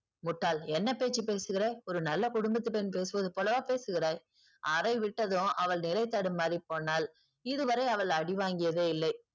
முட்டாள் என்ன பேச்சு பேசுகிற? ஒரு நல்ல குடும்பத்து பெண் பேசுவது போலவா பேசுகிறாய். அறை விட்டதும் அவள் நிலை தடுமாறி போனாள். இதுவரை அவள் அடி வாங்கியதே இல்லை.